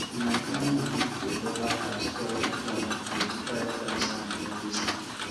my grandmama dey cover her stored grain with dry grass and heavy stone